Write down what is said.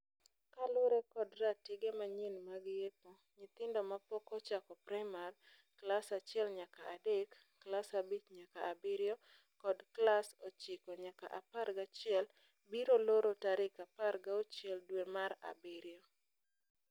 Kalure kod tarige manyien mag yepo, nyithindo mapok ochako primar. Klas achiel nyaka adek. Klas abich nayaka abirio kod klas ochiko nayaka apar gachiel biro loro tarik apar gauchiel dwe mar abirio.